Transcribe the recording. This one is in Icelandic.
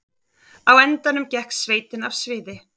Á endanum gekk sveitin af sviði